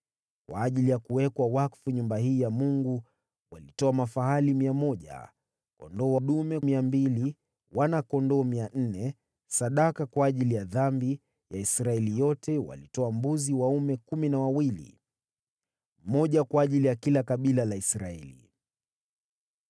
Kwa ajili ya kuwekwa wakfu nyumba hii ya Mungu walitoa mafahali mia moja, kondoo dume mia mbili, wana-kondoo mia nne, sadaka kwa ajili ya dhambi ya Israeli yote walitoa mbuzi dume kumi na wawili, mmoja kwa ajili ya kila kabila la Israeli.